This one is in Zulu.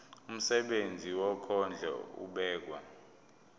umsebenzi wokondla ubekwa